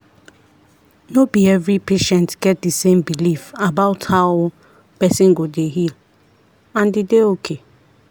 no be every patient get the same belief about how person go dey heal and e dey okay.